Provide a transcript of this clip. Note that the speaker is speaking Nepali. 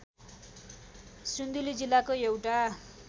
सिन्धुली जिल्लाको एउटा